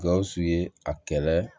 Gawusu ye a kɛlɛ